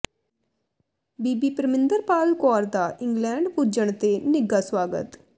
ਬੀਬੀ ਪ੍ਰਮਿੰਦਰਪਾਲ ਕੌਰ ਦਾ ਇੰਗਲੈਂਡ ਪੁੱਜਣ ਤੇ ਨਿੱਘਾ ਸਵਾਗਤ